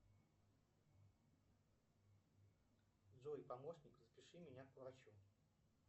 джой помощник запиши меня к врачу